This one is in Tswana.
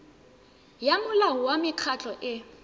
ya molao wa mekgatlho e